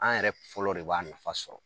An yɛrɛ fɔlɔ de b'a nafa sɔrɔ.